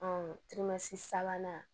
sabanan